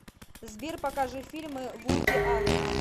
сбер покажи фильмы вуди аллена